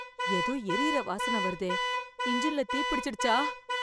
ஏதோ எரியுற வாசனை வருதே. இஞ்சின்ல தீ பிடிச்சிடுச்சா?